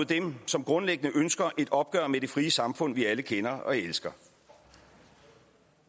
dem som grundlæggende ønsker et opgør med det frie samfund vi alle kender og elsker